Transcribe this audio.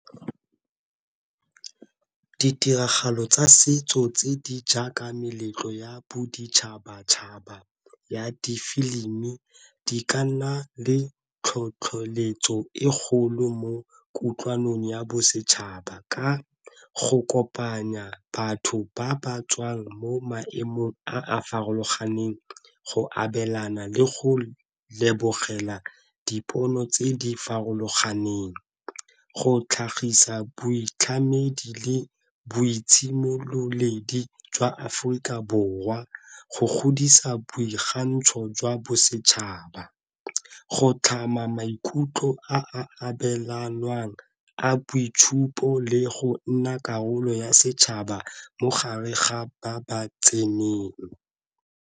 Ditiragalo tsa setso tse di jaaka meletlo ya boditšhabatšhaba ya di-film di ka nna le tlhotlheletso e kgolo mo kutlwanong ya bosetšhaba ka go kopanya batho ba ba tswang mo maemong a a farologaneng, go abelana, le go lebogela dipono tse di farologaneng. Go tlhagisa boitlhamedi le boitshidilo mmoledi jwa Aforika Borwa, go godisa boikgantsho jwa bosetšhaba, go tlhama maikutlo a abelanwang a boitshupo le go nna karolo ya setšhaba mogare ga ba ba tseneng.